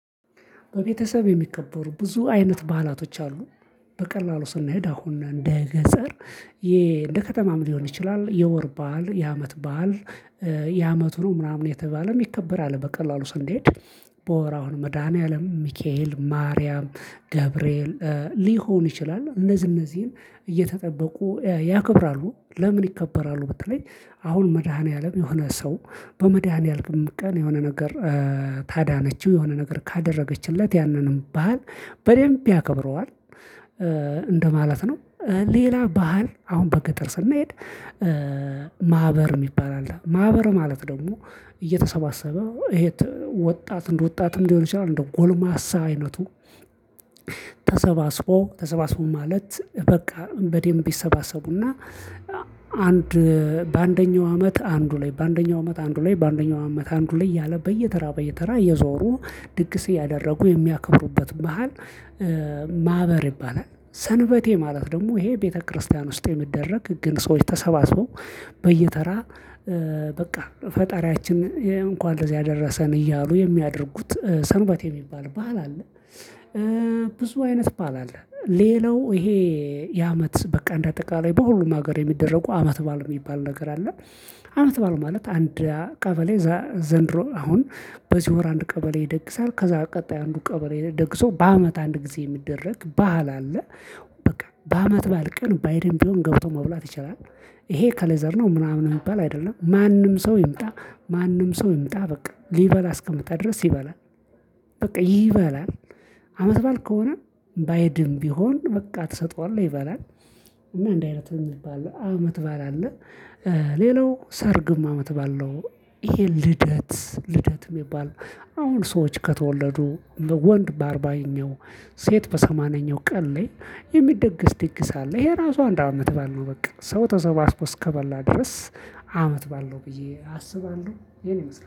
በቤተሰብ የሚከበሩ ብዙ አይነት ባህላቶች አሉ። በቀላሉ ስንሄድ አሁን እንደ ገጸር ዬ እንደከተማም ሊሆን ይችላል። የወር ባል የዓመት ባል የአመቱ ነው ምናምን የተባለም ይከበራል። በቀላሉ ስንሄድ በወር አሁን መድኃኒዓለም ሚካኤል ማርያም ገብርኤል ሊሆን ይችላል እነዚህ እነዚህን እየተጠበቁ ያክብራሉ። ለምን ይከበራሉ? በተለይ አሁን መድኃኒዓለም የሆነ ሰው በመድኃኒዓለም ቀን የሆነ ነገር ታዳነችው የሆነ ነገር ካደረገችለት ያንንም ባህል በደንብ ያከብረዋል እ እንደማለት ነው። ሌላ ባህል አሁን በገጠር ስንሄድ ማህበር የሚባል አለ። ማህበር ማለት ደግሞ እየተሰባሰበ ወጣት እንደ ወጣትም ሊሆን ይችላል እንደው ጎልማሳ አይነቱ። ተሰባስቦ ተሰባስቦ ማለት በቃ በዴምብ ይሰባሰቡና አንድ በአንደኛው አመት አንዱ ላይ በአንደኛው አመት አንዱ ላይ በአንደኛው አመት አንዱ ላይ ያለ በየተራ በየተራ እየዞሩ ድግስ እያደረጉ የሚያከብሩበት በሀል። ማህበር ይባላል። ሰንበቴ ማለት ደግሞ ይሄ ቤተክርስቲያን ውስጥ የሚደረግ ግን ሰዎች ተሰባስቦ በየተራ እ በቃ ፈጣሪያችን እንኳን ለዚህ ያደረሰን እያሉ የሚያደርጉት ሰንበቴ የሚባል ባህል አለ። ብዙ አይነት ባህል አለ። ሌላው ይሄ የአመት በቃ እንደ አጠቃላይ በሁሉም ሀገር የሚደረጉ አመት ባል የሚባል ነገር አለ። አመት ባል ማለት አንድ ቀበሌ ዘንድሮ አሁን በዚህ ወር አንድ ቀበሌ ይደግሳል ከዛ ቀጣይ አንዱ ቀበሌ ደግሶ በአመት አንድ ጊዜ የሚደረግ ባህል አለ። በቃ በአመት ባል ቀን ባይድም ቢሆን ገብቶ መብላት ይችላል። ይሄ ከሌዘር ነው። ምናምን የሚባል አይደለም ማንም ሰው ይምጣ ማንም ሰው ይምጣ በቃ ሊበላ አስቀምጣለሁ ድረስ ይበላል። በቃ ይበላል። አመት ባል ከሆነ ባይድም ቢሆን በቃ ትሰጠዋለህ ይበላል። እና እንደ አይነት የሚባል አመት ባል አለ። ሌላው ሰርግም አመት ባል ነው። ይሄ ልደት ልደት የሚባል አሁን ሰዎች ከተወለዱ ወንድ በአርባኛው ሴት በሰማንያኛው ቀን ላይ የሚደገስ ድግስ አለ። ይሄ ራሱ አንድ አመት ባልነው በቃ ሰው ተሰባስቦ እስከበላ ድረስ አመት ባለ ነው ብዬ አስባለሁ ይሄን ይመስላል